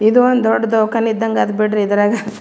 ಇದು ಒಂದು ದೊಡ್ಡ ದವಾಕಾನಿ ಇದಂಗ್ ಅದ್ ಬಿಡ್ರಿ ಇದ್ರಗ್.